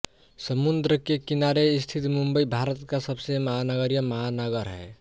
समुद्र के किनारे स्थित मुंबई भारत का सबसे महानगरीय महानगर है